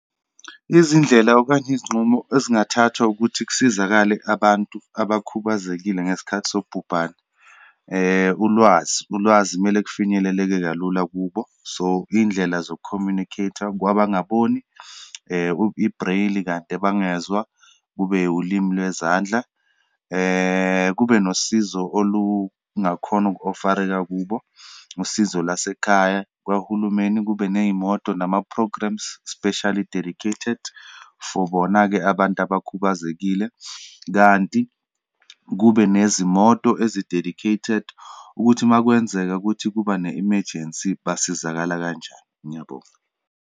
Izindlela, okanye izinqumo ezingathathwa ukuthi kusizakale abantu abakhubazekile ngesikhathi sobhubhane. Ulwazi, ulwazi kumele kufinyeleleke kalula kubo. So, iyindlela zoku-communicate-a kwabangaboni, i-braille kade bangezwa, kube ulimu lwezandla, kube nosizo olungakhona uku-offer-reka kubo, usizo lasekhaya, kwahulumeni kube neyimoto nama-programmes specially dedicated for bona-ke abantu abakhubazekile, kanti kube nezimoto ezi dedicated, ukuthi uma kwenzeka ukuthi kuba ne emergency, basizakala kanjani. Ngiyabonga.